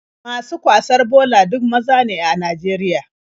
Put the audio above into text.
Masu kwasar bola duk maza ne a Najeriya.